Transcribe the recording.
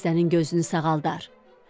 xəstənin gözünü sağaldar.